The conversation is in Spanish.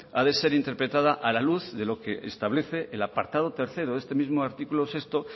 ha de ser interpretada a la luz de lo que establece el apartado tercero de este mismo artículo seis